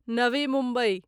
Navi Mumbai